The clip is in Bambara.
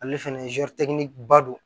Ale fɛnɛ ba don